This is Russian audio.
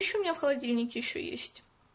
пища у меня в холодильнике ещё есть